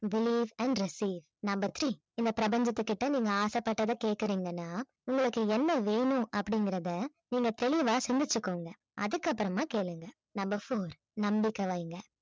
believe and number three இந்தப் பிரபஞ்சத்துக்கிட்ட நீங்க ஆசைப்பட்டதை கேக்குறீங்கன்னா உங்களுக்கு என்ன வேணும் அப்படிங்கறதை நீங்க தெளிவாக சிந்திச்சுக்கோங்க அதுக்கு அப்புறமா கேளுங்க number four நம்பிக்கை வைங்க